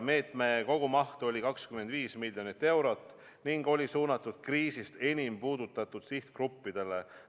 Meetme kogumaht oli 25 miljonit eurot ning see oli suunatud kriisist enim puudutatud sihtgruppidele.